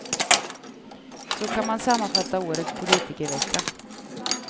Så kan man sammanfatta årets politikervecka.